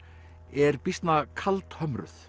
er býsna